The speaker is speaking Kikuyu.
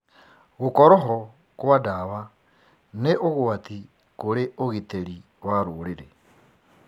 Gũkorwo ho kwa ndawa nĩ ũgwati kũrĩ ũgitĩri wa rũrĩrĩ.